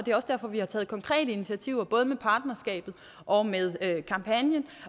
derfor vi har taget konkrete initiativer både med partnerskabet og med kampagnen